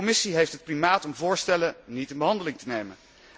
De Commissie heeft het primaat om voorstellen niet in behandeling te nemen.